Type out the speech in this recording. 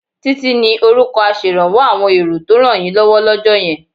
Títí ni orúkọ aṣèrànwọ́ àwọn èrò tó rànyínlọ́wọ́ lọ́jọ́ yẹn